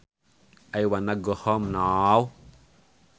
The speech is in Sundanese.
I wanna go home now